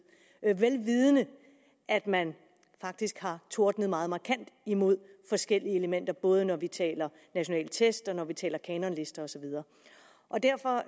vel vidende at man faktisk havde tordnet meget markant imod forskellige elementer både når vi taler om nationale tests og når vi taler om kanonlister og så videre derfor